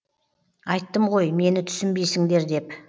айттым ғой мені түсінбейсіңдер деп